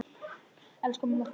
Elsku mamma, farðu vel.